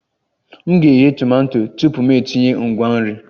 M ga-eghe tomato tupu m etinye ngwa nri